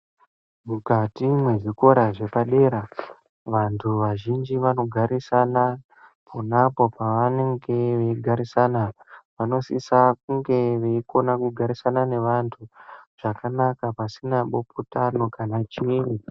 Mukati mwezvikora zvepadera, vantu vazhinji vanogarisana ponapo pevanenge veigarisana. Vanosisa kunge veikona kugarisana neanthu zvakanaka pasina bopotano kana chiini.